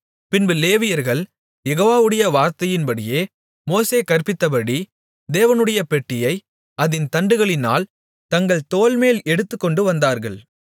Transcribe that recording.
பின்பு லேவியர்கள் யெகோவாவுடைய வார்த்தையின்படியே மோசே கற்பித்தபடி தேவனுடைய பெட்டியை அதின் தண்டுகளினால் தங்கள் தோள்மேல் எடுத்துக்கொண்டுவந்தார்கள்